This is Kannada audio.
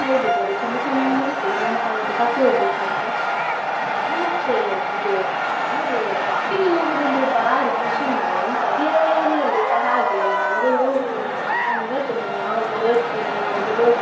ಚಂದ ಚಾಂದ್ದ್ ಇತ್ತು, ನಾನುಸ ಹಾಗೆ ತಕ್ಕೊಳ್ಬೇಕು ಅಂತ ನಂಗೆ ಮತ್ತೆ ಇದು ಏನಾದ್ರೂ shopping ಇಗೆ ಹೋಗುದಂದ್ರೆ ಬಾರಿ ಖುಷಿ ಮಾರೆ ಎಂತ ಅದು ಎ~ ಎಲ್ಲರಿಗೆಸ ಹಾಗೆ ಅಲ್ಲಾ. ನಂಗೆ ಹೋಗುದಂದ್ರೆ ನನ್ ಇವತ್ತೇ ನಾನ್ ಯಾವಾಗ ಹೋಗ್ತೇನೆ, ಯಾವಾಗ ಹೋಗ್ತೇನೆ ಅಂತ ಕಾಯಿತ್ತಿದ್ದೇನೆ ನಾಳೆ ಮಿನಿ.